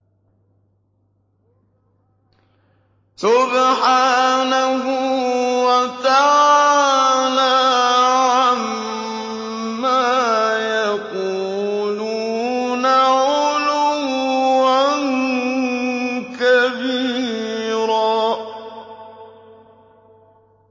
سُبْحَانَهُ وَتَعَالَىٰ عَمَّا يَقُولُونَ عُلُوًّا كَبِيرًا